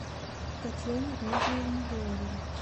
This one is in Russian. татьяне дмитриевне леоновой